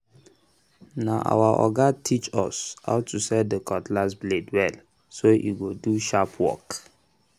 na our oga teach um us how to set the cutlass blade well um so e go do sharp work